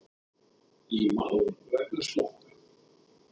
Í mál vegna smokka